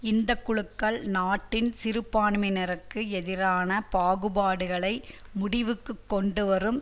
இந்த குழுக்கள் நாட்டின் சிறுபான்மையினருக்கு எதிரான பாகுபாடுகளை முடிவுக்கு கொண்டு வரும்